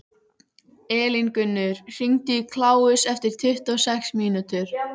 Elíngunnur, hringdu í Kláus eftir tuttugu og sex mínútur.